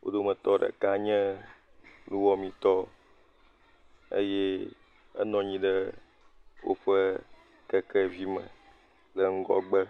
Wo dometɔ ɖeka nye nuwɔmeetɔ eye enɔ anyi ɖe woƒe kekevi me le ŋgɔgbe.